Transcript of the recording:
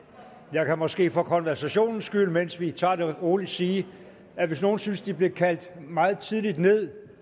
jeg kan måske for konversationens skyld mens vi tager det roligt sige at hvis nogen synes at de blev kaldt meget tidligt ned